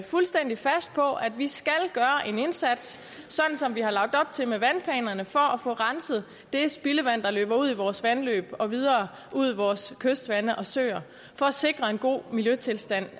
fuldstændig fast på at vi skal gøre en indsats sådan som vi har lagt op til med vandplanerne for at få renset det spildevand der løber ud i vores vandløb og videre ud i vores kystvande og søer for at sikre en god miljøstilstand